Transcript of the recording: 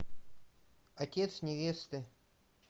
отец невесты